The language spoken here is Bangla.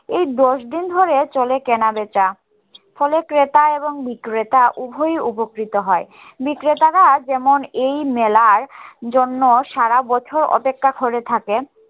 এই দশ দিন ধরে চলে কেনা বেচা ফলে ক্রেতা এবং বিক্রেতা উভয়ই উপকৃত হয় বিক্রেতারা যেমন এই মেলার জন্য সারা বছর অপেক্ষা করে থাকে